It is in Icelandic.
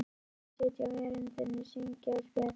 Krakkarnir sitja á veröndinni, syngja og spjalla.